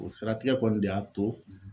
O siratigɛ kɔni de y'a to